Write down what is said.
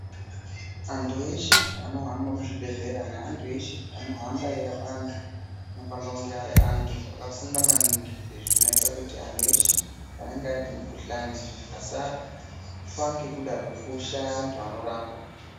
Anthu eshe anohamba muzvibhedhlera anthu eshe anohamba eirapa anthu anofanira kunge ari anthu akafunda maningi izvi zvinoita kuti anthu eshe anenge ane mikuhlani asafa ngekuda kwekushaya anthu anorapa.